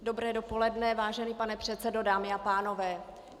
Dobré dopoledne, vážený pane předsedo, dámy a pánové.